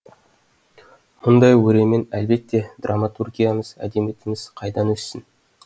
мұндай өремен әлбетте драматургиямыз әдебиетіміз қайдан өссін